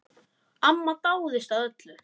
Amma dáðist að öllu.